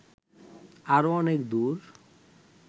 আরো অনেক দূর